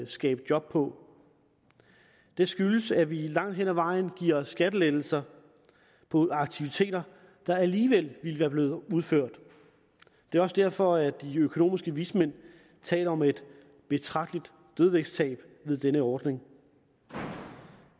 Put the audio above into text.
skabe job på det skyldes at vi langt hen ad vejen giver skattelettelser på aktiviteter der alligevel ville være blevet udført det er også derfor de økonomiske vismænd taler om et betragteligt dødvægtstab ved denne ordning